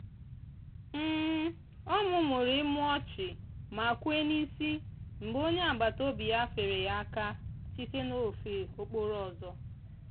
ọ mumuru imu ọchị ma kwee n'isi mgbe onye agbataobi ya feere ya aka site n'ofe okporo ama.